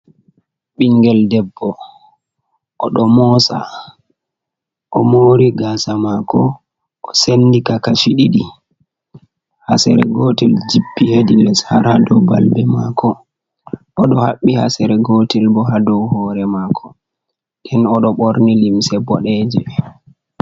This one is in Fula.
Ɓingel debbo oɗo moosa, o moori gaasa maako, o sendi ka kashi ɗiɗi, hasere gootel jippi hedi les har ha dow balbe maako, oɗo haɓɓi hasere gootel bo ha dow hoore maako, nden oɗo ɓorni limse boɗeeje.